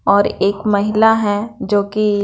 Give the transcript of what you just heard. और एक महिला हैं जो की--